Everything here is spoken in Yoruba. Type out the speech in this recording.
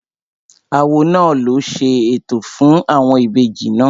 Awo náà ló ṣe ètò fún àwọn ìbejì náà